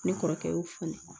Ne kɔrɔkɛ y'o fɔ ne ɲɛna